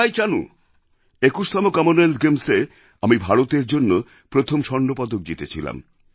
২১তম Commonwealth গেমস্এ আমি ভারতের জন্য প্রথম স্বর্ণপদক জিতেছিলাম